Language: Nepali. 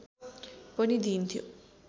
पनि दिइन्थ्यो